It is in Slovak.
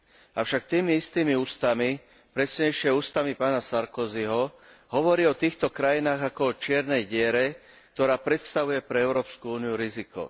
Avšak tými istými ústami, presnejšie ústami pána Sarkozyho, hovorí o týchto krajinách ako o čiernej diere, ktorá predstavuje pre Európsku úniu riziko.